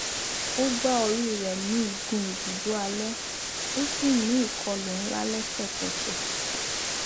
ó gbá orí rẹ ní igun ibùdó alẹ ó sì ní ìkọlù ńlá lẹsẹkẹsẹ